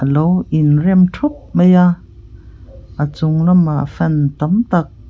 lo in rem thup mai a a chung lam ah fan tam tak--